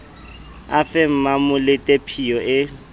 a fe mmamolete phiyo e